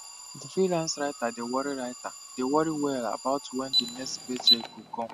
di freelance writer dey worry writer dey worry well about wen di next paycheck go come